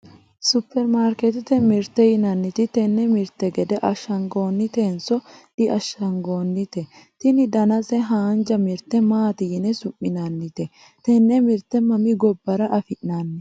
superimaarkeetete mirteeti yinanniti tenne mirte gede ashshagantannotenso diashshagantanno? tini danase haanja mirte maati yine su'minannite? tenne mirte mami gobbara afi'nanni?